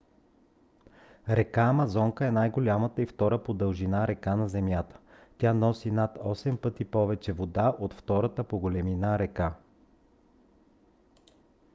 река амазонка е най-голямата и втора по дължина река на земята. тя носи над 8 пъти повече вода от втората по големина река